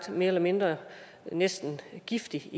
mere eller mindre giftigt